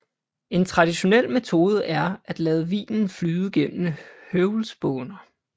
En traditionel metode er at lade vinen flyde gennem høvlspåner